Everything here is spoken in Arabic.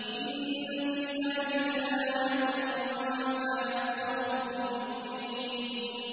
إِنَّ فِي ذَٰلِكَ لَآيَةً ۖ وَمَا كَانَ أَكْثَرُهُم مُّؤْمِنِينَ